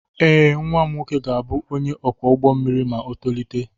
Ee, nwa m nwoke ga-abụ onye ọkwọ ụgbọ mmiri ma o tolite.